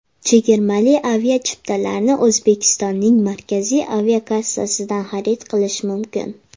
Chegirmali aviachiptalarni O‘zbekistonning Markaziy aviakassasidan xarid qilish mumkin.